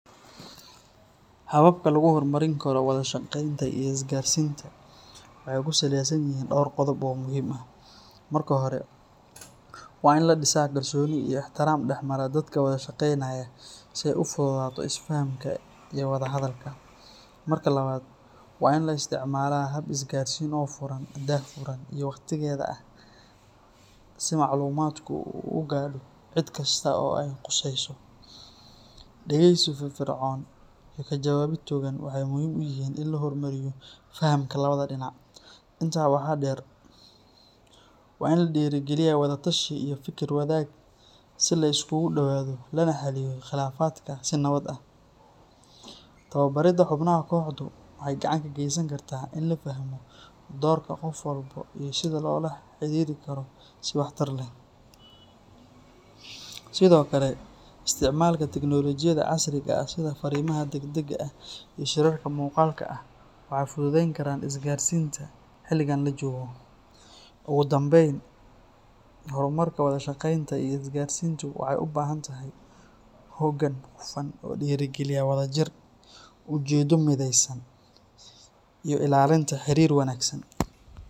Hababka lagu hormarin karo wada shaqeynta iyo isgaarsiinta waxay ku saleysan yihiin dhowr qodob oo muhiim ah. Marka hore, waa in la dhisaa kalsooni iyo ixtiraam dhexmara dadka wada shaqeynaya si ay u fududaato isfahamka iyo wada hadalka. Marka labaad, waa in la isticmaalaa hab isgaarsiin oo furan, daahfuran, iyo waqtigeeda ah si macluumaadku u gaadho cid kasta oo ay khusayso. Dhageysi firfircoon iyo ka jawaabid togan waxay muhiim u yihiin in la horumariyo fahamka labada dhinac. Intaa waxaa dheer, waa in la dhiirrigeliyaa wada tashi iyo fikir wadaag si la isugu dhowaado lana xalliyo khilaafaadka si nabad ah. Tababarida xubnaha kooxdu waxay gacan ka geysan kartaa in la fahmo doorka qof walba iyo sida loola xiriiri karo si waxtar leh. Sidoo kale, isticmaalka tignoolajiyada casriga ah sida fariimaha degdega ah iyo shirarka muuqaalka ah waxay fududayn karaan isgaarsiinta xilligan la joogo. Ugu dambayn, horumarka wada shaqeynta iyo isgaarsiintu waxay u baahan tahay hoggaan hufan oo dhiirrigeliya wadajir, ujeeddo midaysan, iyo ilaalinta xiriir wanaagsan.